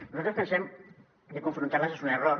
nosaltres pensem que confrontar les és un error